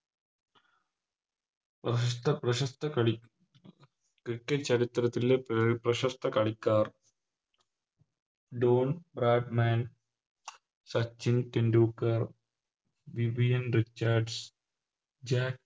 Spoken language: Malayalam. പ്രശസ്ത പ്രശസ്ത കളി Cricket ചരിത്രത്തിലെ പ്രശസ്ത കളിക്കാർ Don Bradman Sachin Tendulkar Vivian Richard Jack